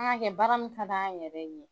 An k'a kɛ baara min ka d'an yɛrɛ ye.